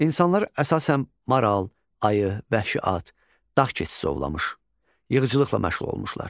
İnsanlar əsasən maral, ayı, vəhşi at, dağ keçisi ovlamış, yığıcılıqla məşğul olmuşlar.